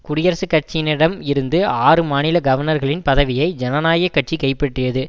குடியரசுக் கட்சியினரிடம் இருந்த ஆறு மாநில கவர்னர்களின் பதவியை ஜனநாயக கட்சி கைப்பற்றியது